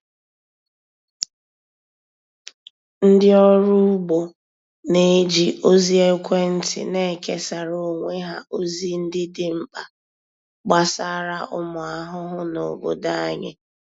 Ndị ọrụ ugbo na-eji ozi ekwentị nekesara onwe ha ozi ndị dị mkpa gbasara ụmụ ahụhụ na obodo anyị.